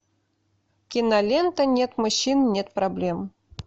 кинолента нет мужчин нет проблем